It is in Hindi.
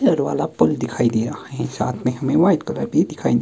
रेड वाला पुल दिखाई दे रहा है साथ में हमें व्हाइट कलर भी दिखाई--